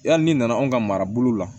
Yali n'i nana anw ka marabolo la